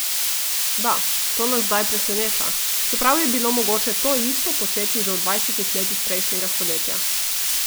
Da, to nas zdaj preseneča, čeprav je bilo mogoče to isto početi že v dvajsetih letih prejšnjega stoletja.